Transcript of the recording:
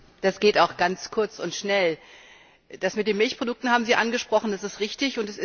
Das geht auch ganz kurz und schnell Das mit den Milchprodukten haben Sie angesprochen, das ist richtig.